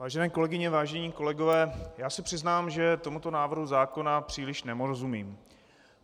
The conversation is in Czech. Vážené kolegyně, vážení kolegové, já se přiznám, že tomuto návrhu zákona příliš nerozumím.